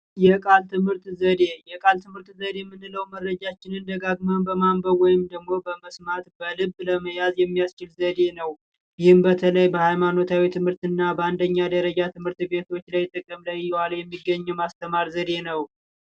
የቀልድ ትምህርት ዘዴ የቃል ትምህርት ዘዴ የምንለው መረጃችን እንደዳግመን በማንበብ ወይንም ደግሞ ለመስማት በልብ ለመያዝ የሚያስ ዘዴ ነው ይህም በተለይ በሃይማኖታዊ ትምህርትና በአንደኛ ደረጃ ትምህርት ቤቶች ላይ ጥቅም ላይ እየዋለ የሚገኝ የማስተማር ዘዴ ነው።